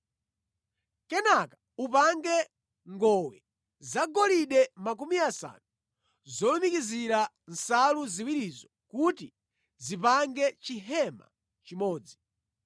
Kenaka upange ngowe zagolide makumi asanu zolumikizira nsalu ziwirizo kuti zipange chihema chimodzi.